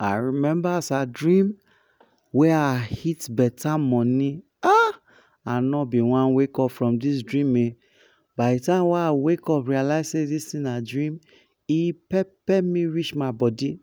I remember as I dream wey I hit beta money um I no been wan wake up from dis dream um by d time wey I wake up realise sey dis thing na dream e pepper me reach my body,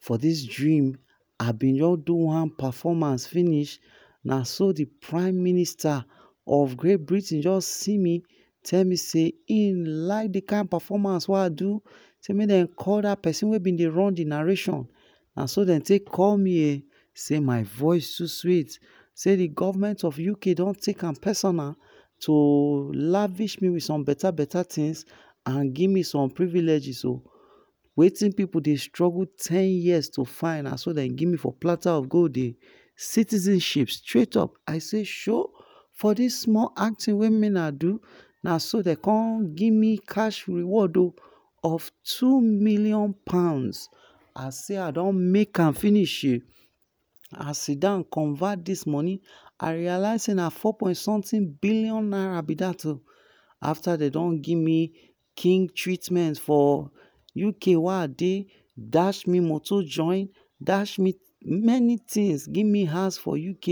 for dis dream I been don do one performance finish, naso d prime minister of great Britain jus see me tell me sey hin like d kind performance wey I do, sey make dem call dat persin wey been dey run d narration, naso dey take call me um sey my voice too sweet, sey d government of UK don too take am personal to lavish me with some beta beta things and give me some privileges oh, wetin pipu dey struggle ten years to find na so dem give me for platter of gold um citizenship straight up, I sey um for dis small acting wey me I do naso dem come give me cash reward o, of two millon pounds, I sey i don make am finish um I sidon convert dis money, I realise sey na four point something billion naira b dat o, afta dem don give me king treatment for uk wey I dey, dash me moto join, dash me many things, give me house for uk,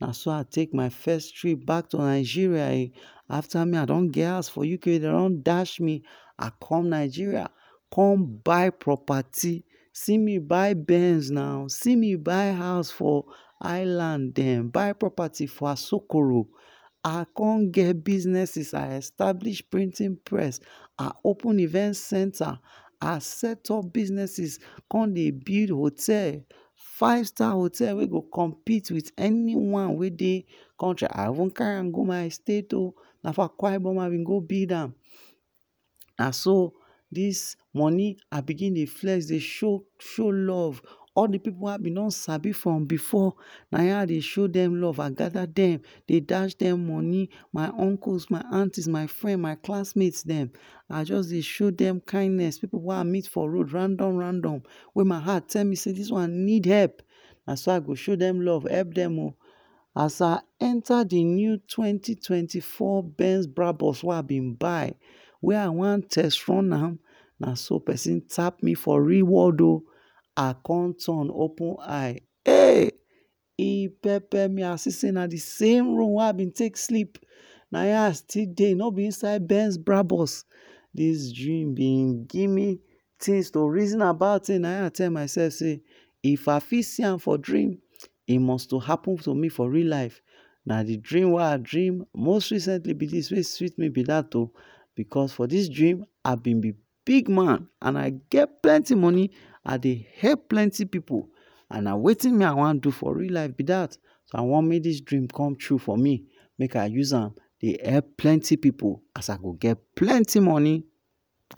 naso I take my first trip back to Nigeria um afta me I don get house for Uk dem don dash me, I come Nigeria come buy property, see me buy benz na, see me buy house for island dem, buy property for asokoro, I con get businesses I establish printing press, I open event center, I set up businesses, con dey build hotel, five star hotel wey go compete with any one wey dey country I even carry am go my state o, na for akwa ibom I bin go build am, naso dis money I begin dey flex dey show true love all d pipu wey I don sabi from before, nah in I dey show dem love I gather dem, dey dash dem money, my uncles my aunties my friends, my classmates dem I jus dey show dey show dem kindness, pipu wey I meet for road random random, wey my heart tell me sey dis one need help naso I go show help dem o, as I enta d new twenty twenty four Benz brabus wey I bin buy wey I wan test run am, naso persin tap me for real world o, I con turn open eye um e pepper me o, I see sey na d same room wey I been take sleep nah in I still dey, no b inside benz brabus, dis dream been give me things to reason about[um] nah in I tell myself sey if I fit see am for dream e must to happen to me for real life, na d dream wey I dream most recently b dat wey b sweet me oh be that, because for dis dream, I bin b big man and I get plenty money, I dey help plenty pipu, and wetin me I wan do for real life b dat, so I want make dis dream come true for me make I use am dey help plenty pipu as I go get plenty money.